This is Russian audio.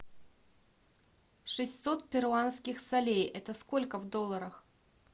шестьсот перуанских солях это сколько в долларах